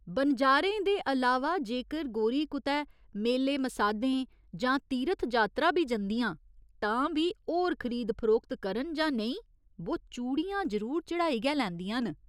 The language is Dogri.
बनजारें दे अलावा जेकर गोरी कुतै मेले मसाधें जां तीरथ जात्तरा बी जंदियां तां बी होर खरीद फरोख्त करन जां नेईं बो चूड़ियां जरूर चढ़ाई गै लैंदियां न।